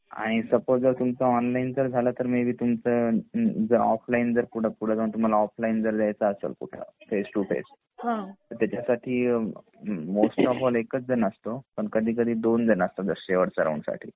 आणि सुपोज जर तुमच ऑनलाइन जर झळ तर मे बी तुमच ऑफलाइन जर पुढे जाऊन कुठे तुम्हाला ऑफलाइन जर द्यायच असेल तर कुठं फेस टु फेस त्याचसाठी मोस्ट ऑफ ऑल एकाच जण असतो पण कधी कधी दोन जणं असतात जर शेवटच्या राऊंड साठी